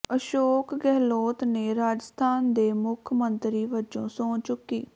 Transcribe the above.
ਅਸ਼ੋਕ ਗਹਿਲੋਤ ਨੇ ਰਾਜਸਥਾਨ ਦੇ ਮੁੱਖ ਮੰਤਰੀ ਵਜੋਂ ਸਹੁੰ ਚੁੱਕੀ